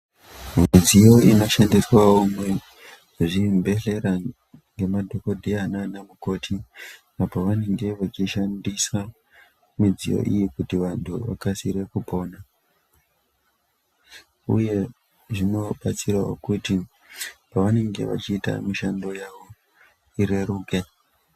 Midziyo inoshandiswawo muzvibhedhleya ngemadhokodheya nanamukoti apo vanenge vachishandisa midziyo iyi kuti vantu vakasire kupona uye zvinobatsirawo kuti pavanenge vachiite mishando yavo ireruke.